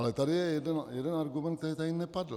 Ale tady je jeden argument, který tady nepadl.